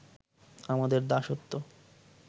আমাদের দাসত্ব